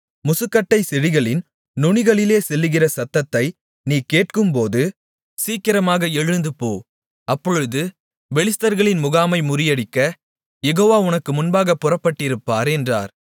முசுக்கட்டைச் செடிகளின் நுனிகளிலே செல்லுகிற சத்தத்தை நீ கேட்கும்போது சீக்கிரமாக எழுந்துப்போ அப்பொழுது பெலிஸ்தர்களின் முகாமை முறியடிக்க யெகோவா உனக்கு முன்பாகப் புறப்பட்டிருப்பார் என்றார்